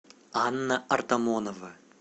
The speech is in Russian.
анна артамонова